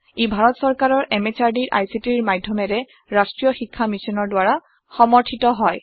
ই ভাৰত সৰকাৰৰ MHRDৰ ICTৰ মাধ্যমেৰে ৰাষ্ট্ৰীয় শীক্ষা মিছনৰ দ্ৱাৰা সমৰ্থিত হয়